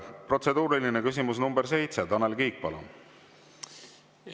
Protseduuriline küsimus nr 7, Tanel Kiik, palun!